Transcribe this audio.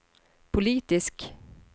politisk